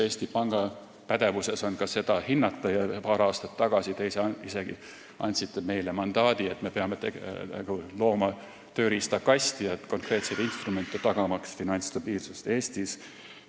Eesti Panga pädevuses on ka seda hinnata ja paar aastat tagasi te isegi andsite meile mandaadi, et me peame looma tööriistakasti, konkreetsed instrumendid, tagamaks finantsstabiilsust Eestis.